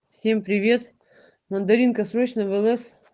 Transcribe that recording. всем привет мандаринка срочно в лс